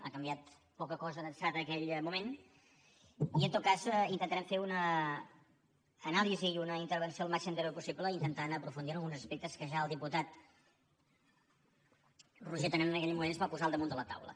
ha canviat poca cosa d’ençà d’aquell moment i en tot cas intentarem fer una anàlisi i una intervenció el màxim de breu possible intentant aprofundir en alguns aspectes que ja el diputat roger torrent en aquell moment ens va posar al damunt de la taula